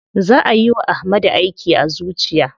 Za ayi wa Ahmadu aiki a zuciya.